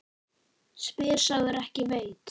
Spyr sá er ekki veit.